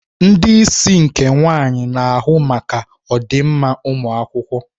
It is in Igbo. Ndị isi nke nwaanyị na-ahụ maka ọdịmma ụmụ akwụkwọ.